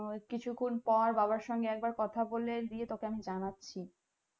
কিছুক্ষন পর বাবার সঙ্গে একবার কথা বলে দিয়ে তোকে আমি জানাচ্ছি